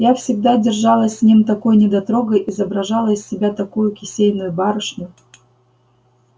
я всегда держалась с ним такой недотрогой изображала из себя такую кисейную барышню